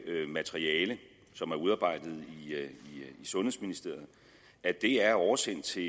materiale som er udarbejdet i sundhedsministeriet at det er oversendt til